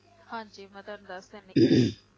ਹਾਂਜੀ ਮੈ ਤੁਹਾਨੂੰ ਦੱਸ ਦਿੰਦੀ